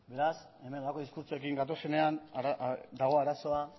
beraz honelako diskurtsoekin gatozenean dago arazoa